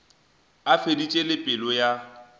a feditše le pelo ya